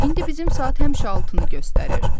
İndi bizim saat həmişə altını göstərir.